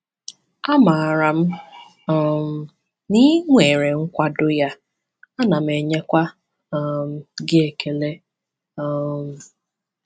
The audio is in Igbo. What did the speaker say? Amaara m um na ị nwere nkwado ya, ana m enyekwa um gị ekele. um